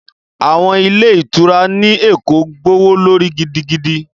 Àwọn ilé ìtura ní Èkó gbówó lórí gidigidi